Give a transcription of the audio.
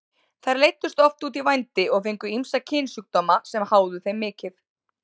Þær leiddust oft út í vændi og fengu ýmsa kynsjúkdóma sem háðu þeim mikið.